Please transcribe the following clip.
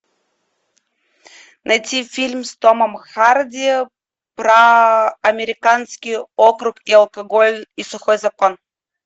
найти фильм с томом харди про американский округ и алкоголь и сухой закон